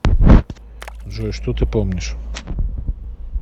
джой что ты помнишь